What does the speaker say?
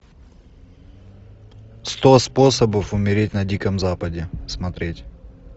сто способов умереть на диком западе смотреть